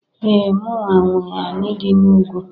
Ee! Mụnwa nwe anị dị n'ugwu.